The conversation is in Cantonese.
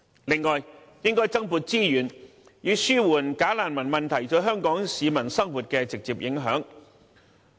此外，應增撥資源，以紓緩"假難民"問題對香港市民生活的直接影響。